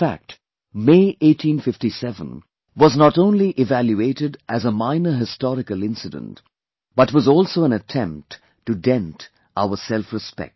In fact, May 1857 was not only evaluated as a minor historical incident but was also an attempt to dent our selfrespect